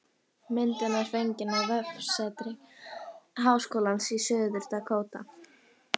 Myndin er fengin á vefsetri Háskólans í Suður-Dakóta